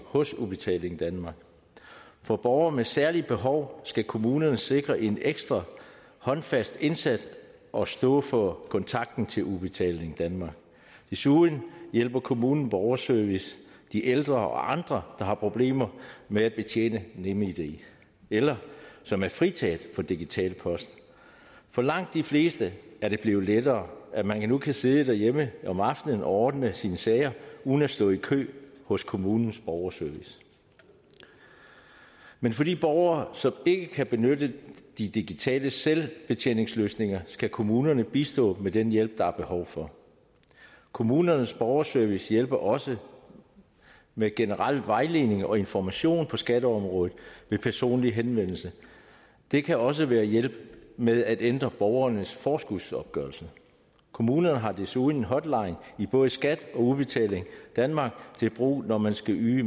hos udbetaling danmark for borgere med særlige behov skal kommunerne sikre en ekstra håndfast indsats og stå for kontakten til udbetaling danmark desuden hjælper kommunens borgerservice de ældre og andre der har problemer med at betjene nemid eller som er fritaget for digital post for langt de fleste er det blevet lettere at man nu kan sidde derhjemme om aftenen og ordne sine sager uden at stå i kø hos kommunens borgerservice men for de borgere som ikke kan benytte de digitale selvbetjeningsløsninger skal kommunerne bistå med den hjælp der er behov for kommunernes borgerservice hjælper også med generel vejledning og information på skatteområdet ved personlig henvendelse det kan også være hjælp med at ændre borgernes forskudsopgørelse kommunerne har desuden en hotline i både skat og udbetaling danmark til brug når man skal yde